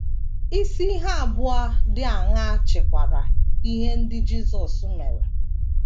Isi ihe abụọ dị aṅaa chịkwara ihe ndị Jisọs mere?